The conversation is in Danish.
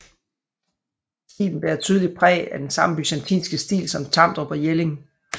Stilen bærer tydeligt præg af den samme byzantinske stil som Tamdrup og Jelling